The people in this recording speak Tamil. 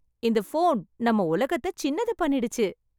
இந்த போன் நம்ம உலகத்த சின்னது பண்ணிடுச்சு.